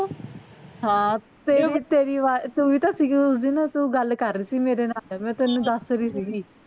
ਹਾਂ ਤੇਰੇ ਪਿਛੇ ਦੀ ਅਵਾਜ ਤੂੰ ਵੀ ਤਾਂ ਸੀਗੀ ਉਸ ਦਿਨ ਤੂੰ ਗੱਲ ਕਰ ਰਹੀ ਸੀ ਮੇਰੇ ਨਾਲ ਮੈਂ ਤੈਂਨੂੰ ਦੱਸ ਰਹੀ ਸੀਗੀ